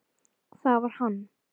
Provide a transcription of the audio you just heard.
Það var hann.